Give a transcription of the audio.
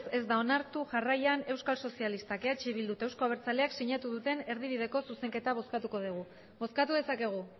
ez ez da onartu jarraian euskal sozialistak eh bildu eta euzko abertzaleak sinatu duten erdibideko zuzenketa bozkatuko dugu bozkatu dezakegu